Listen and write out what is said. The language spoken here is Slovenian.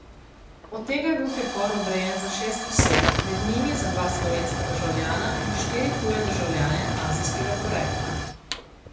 Od tega je bil pripor odrejen za šest oseb, med njimi za dva slovenska državljana in štiri tuje državljane azijskega porekla.